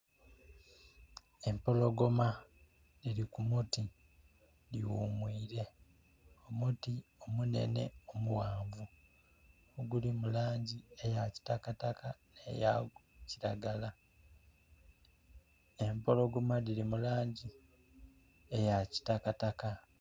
Empologoma dhiri ku muti dhi ghumwire, omuti omunene omughanvu oguli mu langi eya kitakataka ne ya kilagala. Empologoma dhiri mu langi eya kitakataka.